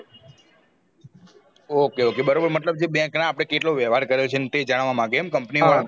okay okay બરોબર મતલબ કે જે bank અપડે કેટલો વ્યવહાર કર્યો છે તે જાણવા માંગે company વાળો